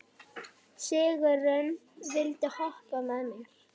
Sigurunn, viltu hoppa með mér?